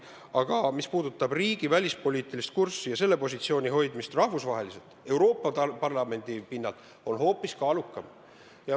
Aga mis puudutab riigi välispoliitilist kurssi ja selle positsiooni hoidmist rahvusvaheliselt, Euroopa Parlamendi tasandil, siis see on hoopis kaalukam.